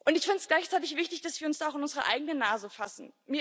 Ich finde es gleichzeitig wichtig, dass wir uns auch an unsere eigene Nase fassen.